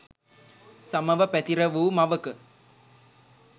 සමව පැතිර වූ මවක